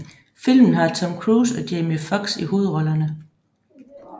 Filmen har Tom Cruise og Jamie Foxx i hovedrollerne